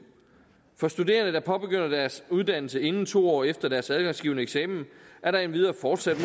for studerende der påbegynder deres uddannelse inden to år efter deres adgangsgivende eksamen er der endvidere fortsat